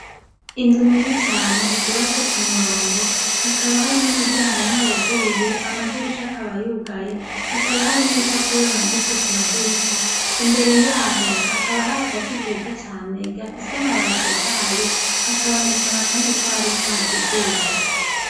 Inzu nini cane zubatse ku murongo hakaba hari n'umuryango umwewuguruye amadirisha akabayugaye hakaba hari n'ibipapuro bimaditse ku madirisha imbere yaho hakaba hari agati keza cane gafise amabatotahaye hakabonekana, kandi ko hariko hakizuba.